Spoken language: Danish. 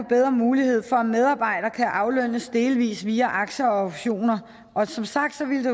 bedre mulighed for at en medarbejder kan aflønnes delvis via aktier og optioner og som sagt ville det